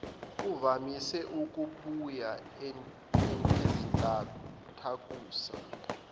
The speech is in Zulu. uvamise ukubuya izintathakusa